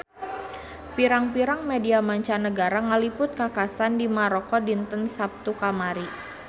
Pirang-pirang media mancanagara ngaliput kakhasan di Maroko dinten Saptu kamari